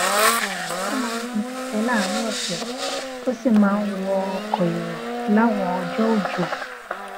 ó máa ń gun kèké láàrín òsè ó sì máa ń wọ ọkò èrò láwọn ọjó òjò